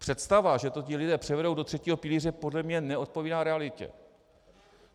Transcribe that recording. Představa, že to ti lidé převedou do třetího pilíře, podle mě neodpovídá realitě.